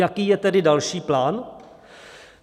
Jaký je tedy další plán?